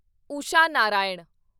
Usha Narayan